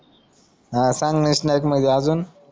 हा सांग मध्ये आजून